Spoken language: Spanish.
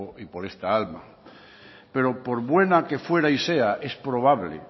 y por esta alma pero por buena que fuera y sea es probable